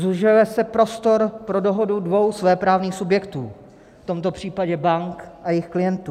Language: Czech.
Zužuje se prostor pro dohodu dvou svéprávných subjektů, v tomto případě bank a jejich klientů.